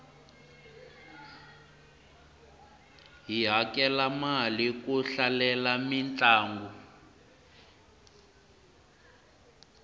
hi hakela mali ku hlalela mintlangu